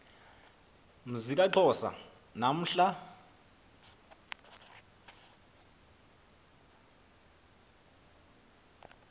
mzi kaxhosa namhla